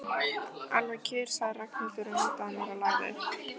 Alveg kjur, sagði Ragnhildur og nuddaði á mér lærið.